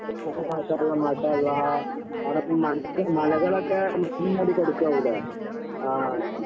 മാഷാ അല്ലാഹ് മാഷാ അല്ലാഹ്. അവടെ മലകളൊക്കെ മഞ്ഞു മൂടിക്കെടക്കാവൂലേ ആഹ്.